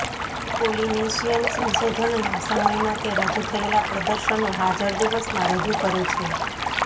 Polynesian સંશોધનના સમયમાં તે રજૂ થયેલા પ્રદર્શનો હાજર દિવસમાં રજૂ કરે છે